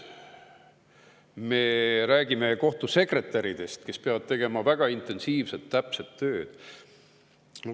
Me räägime kohtusekretäridest, kes peavad tegema väga intensiivset, täpset tööd.